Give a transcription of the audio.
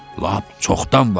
Lap çoxdan var.